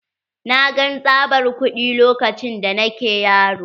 Na gan tsabar kuɗi lokacin da nake yaro.